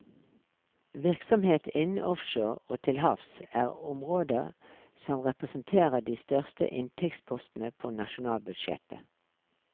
Virksomhet innen offshore og til havs er områder som representerer de største inntektspostene på nasjonalbudsjettet.